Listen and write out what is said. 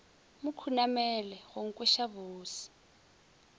mo khunamela go nkweša bose